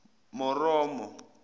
moromo